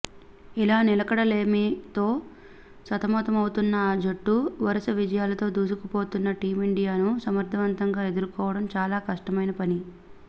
ఇలా నిలకడలేమితో సతమతమవుతున్న ఆ జట్టు వరుస విజయాలతో దూసుకుపోతున్న టీమిండియా ను సమర్థవంతంగా ఎదుర్కోవడం చాలా కష్టమైనా పని